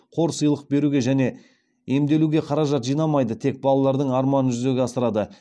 қор сыйлық беруге және емделуге қаражат жинамайды тек балалардың арманын жүзеге асырады